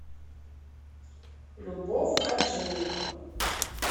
любовь хаджиева